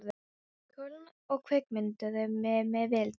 Köln og kvikmynduðu mig með viðtali.